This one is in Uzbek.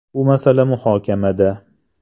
“Bu masala muhokamada.